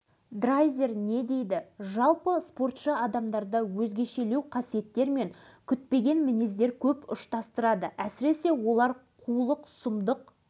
бірақ осы бір таза көңілден жастықтың буымен жасаған игілікті ісі өмірде өшпестей із қалдырады деп ол кезде алашыбайдың